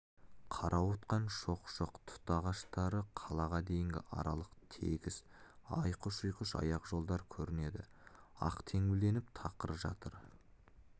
қарауытқан шоқ-шоқ тұт ағаштары қалаға дейінгі аралық тегіс айқыш-ұйқыш аяқ жолдар көрінеді ақ теңбілденіп тақыр жатыр